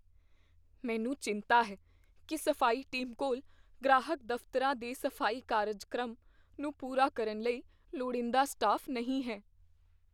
ਮੈਨੂੰ ਚਿੰਤਾ ਹੈ ਕੀ ਸਫ਼ਾਈ ਟੀਮ ਕੋਲ ਗ੍ਰਾਹਕ ਦਫ਼ਤਰਾਂ ਦੇ ਸਫ਼ਾਈ ਕਾਰਜਕ੍ਰਮ ਨੂੰ ਪੂਰਾ ਕਰਨ ਲਈ ਲੋੜੀਂਦਾ ਸਟਾਫ਼ ਨਹੀਂ ਹੈ।